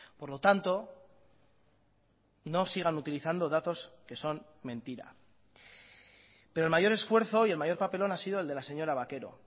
por lo tanto no sigan utilizando datos que son mentira pero el mayor esfuerzo y el mayor papelón ha sido el de la señora vaquero